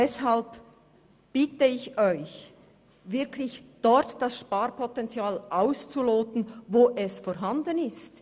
Deshalb bitte ich Sie, das Sparpotenzial dort auszuloten, wo es vorhanden ist.